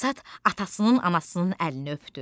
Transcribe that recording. Basat atasının, anasının əlini öpdü.